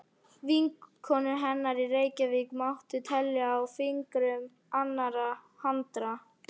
Vinkonur hennar í Reykjavík mátti telja á fingrum annarrar handar.